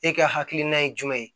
E ka hakilina ye jumɛn ye